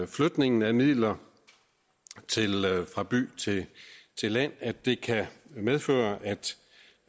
flytningen af midler fra by til land at det kan medføre